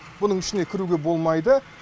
бұның ішіне кіруге болмайды